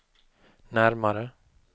närmare